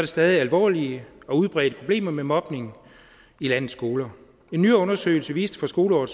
stadig alvorlige og udbredte problemer med mobning i landets skoler en ny undersøgelse viste for skoleåret